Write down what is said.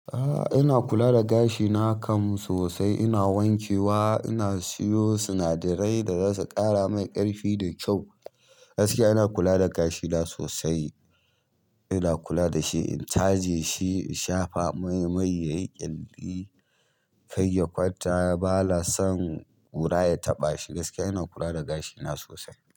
A'a, ina kula da gashina kam sosai. Ina wanke wa, ina siyo sinadarai da zasu ƙara mai ƙarfi da kyau. Gaskiya ina kula da gashina sosai. Ina kula da shi, in caje shi shafa mai yayi ƙyalli kai ya kwanta, ba na son ƙura ya taɓa shi. Gaskiya ina kula da gashina sosai.